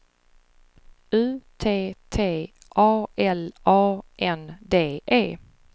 U T T A L A N D E